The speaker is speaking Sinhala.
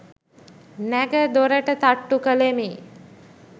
නැඟ දොරට තට්ටු කලෙමි.